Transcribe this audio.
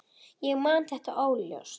Ég man þetta óljóst.